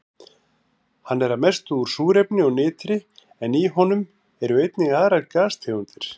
Hann er að mestu úr súrefni og nitri en í honum eru einnig aðrar gastegundir.